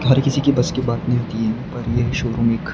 हर किसी की बस की बात नहीं होती और यह शोरूम एक--